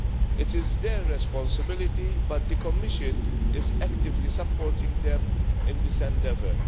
It is their responsibility, but the Commission is actively supporting them in this endeavour.